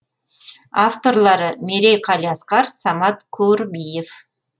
авторлары мерей қалиасқар самат курбиев